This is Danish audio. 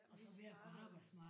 Vi startede